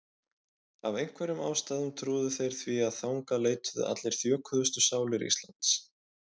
Af einhverjum ástæðum trúðu þeir því að þangað leituðu allar þjökuðustu sálir landsins.